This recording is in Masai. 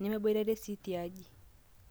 nemeboitare sii tiaji